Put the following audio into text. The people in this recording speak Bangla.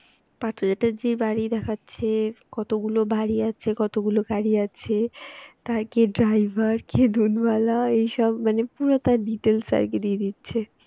পার্থ চ্যাটার্জির বাড়ি দেখাচ্ছো যে কতগুলো বাড়ি আছে কতগুলো গাড়ি আছে তার কে Driver কে দুধওয়ালা এইসব মানে পুরো তার details আর কি দিয়ে দিচ্ছে